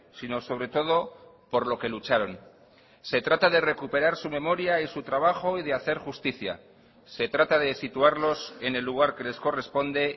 sino sobre todo por lo que lucharon se trata de recuperar su memoria y su trabajo y de hacer justicia se trata de situarlos en el lugar que les corresponde